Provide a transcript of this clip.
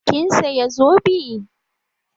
Kin saya zobe?